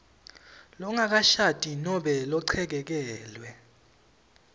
longakashadi nobe lochekekelwe